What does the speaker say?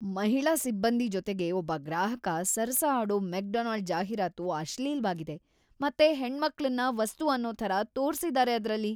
ಮಹಿಳಾ ಸಿಬ್ಬಂದಿ ಜೊತೆಗೆ ಒಬ್ಬ ಗ್ರಾಹಕ ಸರಸ ಆಡೋ ಮೆಕ್‌ಡೊನಾಲ್ಡ್ ಜಾಹೀರಾತು ಅಶ್ಲೀಲ್‌ವಾಗಿದೆ ಮತ್ತೆ ಹೆಣ್ಮಕ್ಳನ್ನ ವಸ್ತು ಅನ್ನೋ ಥರ ತೋರ್ಸಿದಾರೆ ಅದ್ರಲ್ಲಿ.